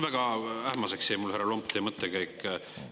Väga ähmaseks jäi mulle teie mõttekäik, härra Lomp.